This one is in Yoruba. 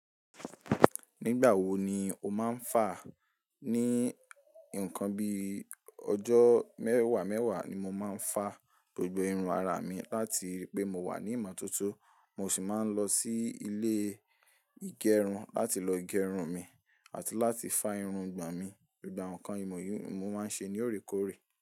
Nígbà wo ni o má ń fàá? Ní nǹkan bi ọjọ́ mẹ́wàá mẹ́wàá ni mo máa ń fàá gbogbo irun ara mi láti ripé mo wà ní ìmọ̀tótó, mo sì máa ń lọ sí ilé ìgẹrun láti lọ gẹrun mi àti láti fá irun gbàn mi. Gbogbo awon nǹkan ìmọ̀ yìí mo máa ń ṣe ní òrékòórè.